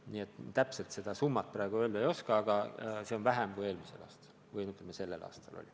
Nii et täpselt seda summat praegu öelda ei oska.